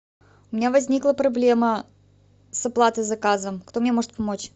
у меня возникла проблема с оплатой заказа кто мне может помочь